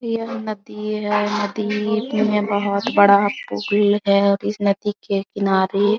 यह नदी है नदी में बहुत बड़ा पुल है और इस नदी के किनारे --